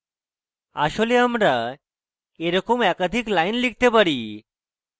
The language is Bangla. আসলে আমরা এরকম একাধিক lines লিখতে পারি